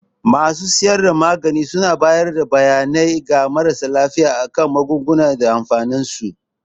Masu siyar da magani suna bayar da bayanai ga marasa lafiya a kan magunguna da amfanin su.